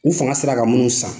U fanga sera ka minnu san,